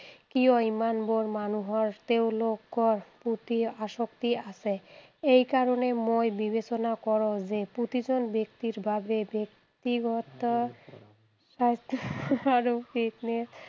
কিয় ইমান বোৰ মানুহৰ তেওঁলোকৰ প্ৰতি আসক্তি আছে, এইকাৰণে মই বিবেচনা কৰোঁ যে প্ৰতিজন ব্যক্তিৰ বাবে ব্যক্তিগত